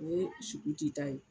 O ye ta ye